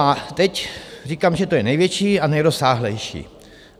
A teď říkám, že to je největší a nejrozsáhlejší.